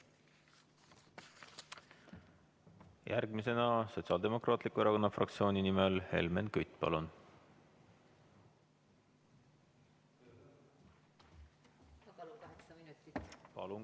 Järgmisena Sotsiaaldemokraatliku Erakonna fraktsiooni nimel Helmen Kütt, palun!